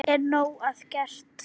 Er nóg að gert?